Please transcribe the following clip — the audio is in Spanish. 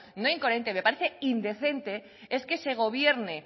no incoherente me parece indecente es que se gobierne